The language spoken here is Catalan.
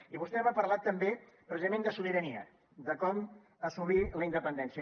i vostè m’ha parlat també precisament de sobirania de com assolir la independència